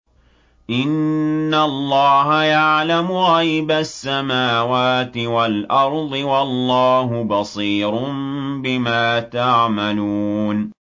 إِنَّ اللَّهَ يَعْلَمُ غَيْبَ السَّمَاوَاتِ وَالْأَرْضِ ۚ وَاللَّهُ بَصِيرٌ بِمَا تَعْمَلُونَ